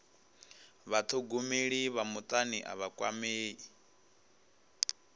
vhathogomeli vha mutani a vha kwamei